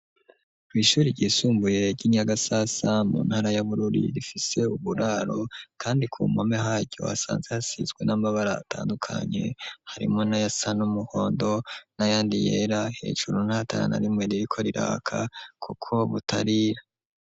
Kw'ishure ryisumbuye ry'inyagasasa mu ntara y'abururi, rifise uburaro kandi ku mpome haryo hasanze hasizwe n'amabara atandukanye harimwo na yasa n'umuhondo nayandi yera hejuru n'ahatara na rimwe ririko riraka kuko butariya.